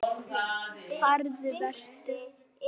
Farðu- Vertu.